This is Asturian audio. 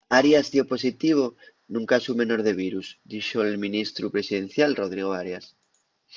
arias dio positivo nun casu menor de virus dixo’l ministru presidencial rodrigo arias